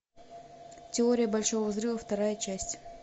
теория большого взрыва вторая часть